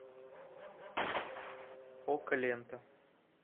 окко лента